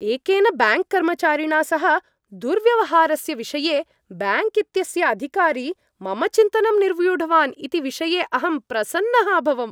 एकेन बैङ्क् कर्मचारिणा सह दुर्व्यवहारस्य विषये बैङ्क् इत्यस्य अधिकारी मम चिन्तनं निर्व्यूढवान् इति विषये अहं प्रसन्नः अभवम्।